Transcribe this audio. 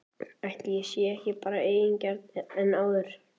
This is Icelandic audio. Ætli ég sé ekki bara eigingjarnari en áður?!